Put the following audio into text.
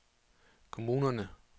kommunerne